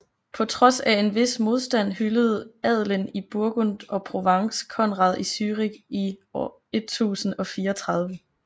På trods af en vis modstand hyldede adelen i Burgund og Provence Konrad i Zürich i 1034